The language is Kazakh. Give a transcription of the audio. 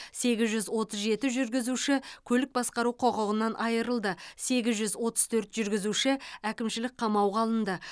сегіз жүз отыз жеті жүргізуші көлік басқару құқығынан айырылды сегіз жүз отыз төрт жүргізуші әкімшілік қамауға алынды